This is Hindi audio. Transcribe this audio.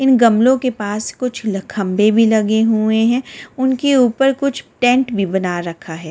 इन गमलों के पास कुछ खंबे भी लगे हुए हैं उनके ऊपर कुछ टेंट भी बना रखा है।